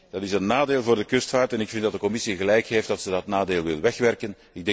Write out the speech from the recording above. Dat is een nadeel voor de kustvaart en ik vind dat de Commissie gelijk heeft dat ze dat nadeel wil wegwerken.